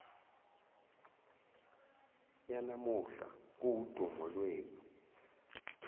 yanamuhla kuwudumo lwenu